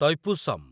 Thaipusam